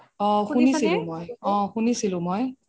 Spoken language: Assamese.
অহ শুনিছিলো মই, অহ শুনিছিলো মই